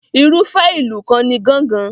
Irúfẹ́ ìlù kan ni gángan.